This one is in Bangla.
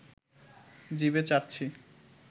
জিভে চাটছি